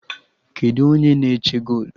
Kedụ u onye na-eche golu?